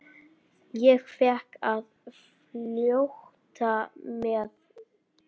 Ég fékk að fljóta með.